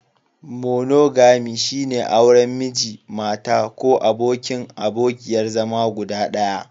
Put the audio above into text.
Monogami, shine auren Miji/Mata ko abokin/abokiyar zama guda ɗaya.